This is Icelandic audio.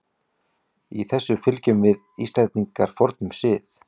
Í þessu fylgjum við Íslendingar fornum sið.